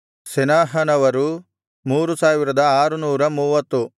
ಸೆನಾಹನವರು 3630